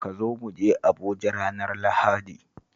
Ka zo mu je Abuja ranar Lahadi